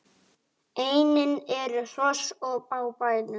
Einnig eru hross á bænum.